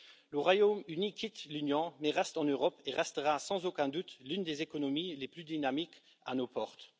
Le Royaume Uni quitte l'Union, mais reste en Europe et restera sans aucun doute l'une des économies les plus dynamiques à nos portes.